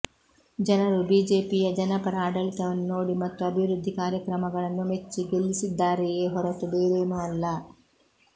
ಜನರು ಬಿಜೆಪಿಯ ಜನಪರ ಆಡಳಿತವನ್ನು ನೋಡಿ ಮತ್ತು ಅಭಿವೃದ್ಧಿ ಕಾರ್ಯಕ್ರಮಗಳನ್ನು ಮೆಚ್ಚಿ ಗೆಲ್ಲಿಸಿದ್ದಾರೆಯೇ ಹೊರತು ಬೇರೇನೂ ಅಲ್ಲ